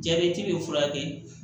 Jabɛti bɛ furakɛ